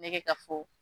Ne bɛ ka fɔ